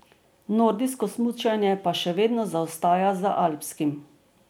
Nordijsko smučanje pa še vedno zaostaja za alpskim.